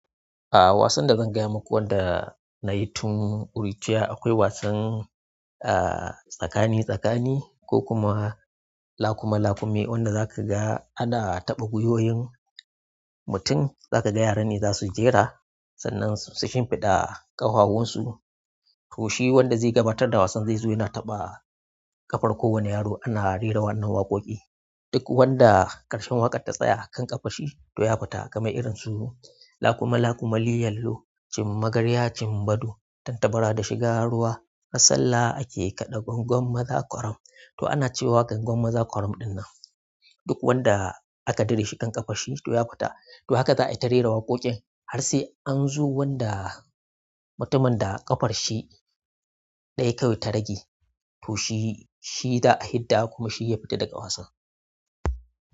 A wasan da zan gaya maku wanda. Nayi tun ƙuruciya akwai wasan, ah tsakani tsakani ko kuma lakuma lakume wanda zakaga ana taɓa gwiwoyin mutum zakaga yaran ne zasu jera sannan su shimfiɗa ƙahawunsu to shi wanda zai gabatar da wasan zai zo yana taɓa ƙafar kowane yaro ana rera wannan waƙoƙi duk wanda ƙarshen waƙar ta tsaya a kan ƙafar shi toh ya fita kamar irin su lakuma lakuma, liyallo, cin magarya, cin baɗo, tantabara da shiga ruwa. A sallah ake kada ƙwanƙwan maza ƙwaram to ana cewa gwangwam maza kworam dinnan duk wanda aka dire shi ƙan ƙafar shi toh ya fita. To haka za'a yi ta rera waƙoƙin har sai anzo wanda mutumin da ƙafar shi ɗaya kawai ta rage to shi, shi za'a hidda kuma shi ya fita daga wasan.